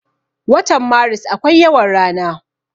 Watan maris akwai yawan rana.